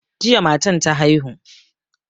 Jiya matan ta haihu.